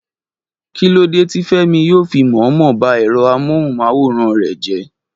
Kí lódé tí Fẹ́mi yóò fi mọ̀ọ́mọ̀ ba ẹ̀rọ amóhùn-máwòrán rẹ̀ jẹ́?